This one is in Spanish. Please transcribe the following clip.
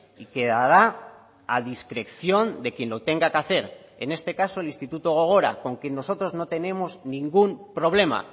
y quedará a discreción de quien lo tenga que hacer en este caso el instituto gogora con que nosotros no tenemos ningún problema